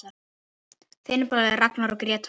Þinn bróðir Ragnar og Gréta.